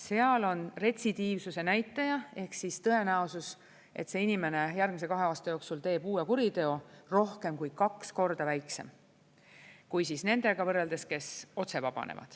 Seal on retsidiivsuse näitaja ehk siis tõenäosus, et see inimene järgmise kahe aasta jooksul teeb uue kuriteo, rohkem kui kaks korda väiksem võrreldes nendega, kes otse vabanevad.